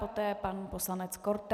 Poté pan poslanec Korte.